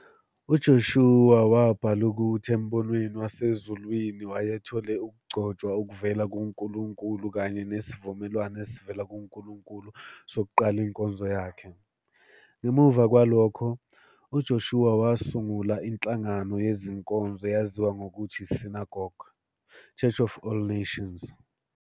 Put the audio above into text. UJoshua wabhala ukuthi embonweni wasezulwini wayethole ukugcotshwa okuvela kuNkulunkulu kanye nesivumelwano esivela kuNkulunkulu sokuqala inkonzo yakhe.. Ngemuva kwalokhu, uJoshua wasungula inhlangano yezinkonzo eyaziwa ngokuthi iSynagogue, Church of All Nations, SCOAN.